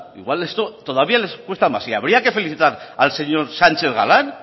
igual esto todavía les cuesta más y habría que felicitar al señor sánchez galán